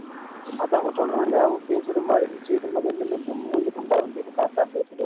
அதான் உனக்கு சொல்றேன்ல உன் face cut மாறிடிச்சு முதல் முன்ன மூஞ்சு குண்டா இருந்தாய் இப்ப correct ஆ face cut